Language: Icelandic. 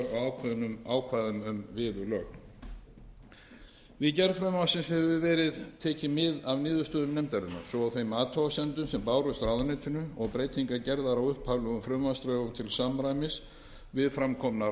á ákvæðum um viðurlög við gerð frumvarpsins hefur verið tekið mið af niðurstöðum nefndarinnar svo og þeim athugasemdum sem bárust ráðuneytinu og breytingar gerðar á upphaflegum frumvarpsdrögum til samræmis við fram komnar athugasemdir